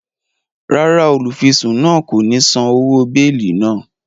Ràrá, olufisun náà ko ni sàn òwò beeli náà